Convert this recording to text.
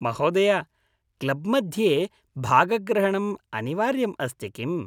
महोदय, क्लब् मध्ये भागग्रहणम् अनिवार्यम् अस्ति किम्‌?